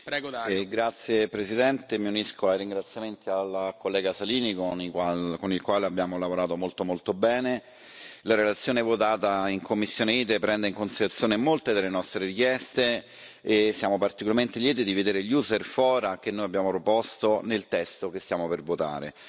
Signor Presidente, onorevoli colleghi, mi unisco ai ringraziamenti al collega Salini, con il quale abbiamo lavorato molto molto bene. La relazione votata in commissione ITRE prende in considerazione molte delle nostre richieste e siamo particolarmente lieti di vedere gli User Fora che noi abbiamo proposto, nel testo che stiamo per votare.